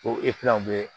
Ko bɛ